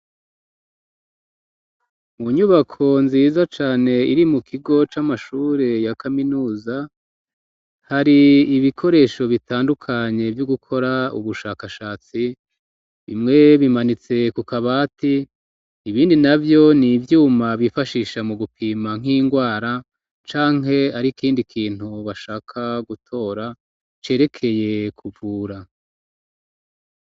Mu nyubako nziza cane iri mu kigo c'amashure ya kaminuza hari ibikoresho bitandukanye vyo gukora ubushakashatsi bimwe bimanitse ku kabati ibindi navyo ni ivyuma bifashisha mu gupima nk'indwara canke ari ikindi kintu bashaka gutora cerekeye kuvura.